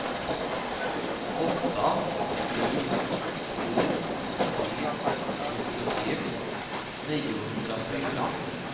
åtta sju två tre sjuttiotre niohundrafyra